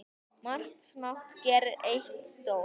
Margt smátt gerir eitt stórt!